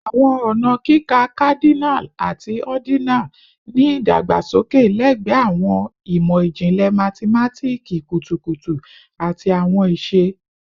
Awọn ọna kika Cardinal ati ordinal ni idagbasoke lẹgbẹẹ awọn imọ-jinlẹ mathematiki kutukutu ati awọn iṣe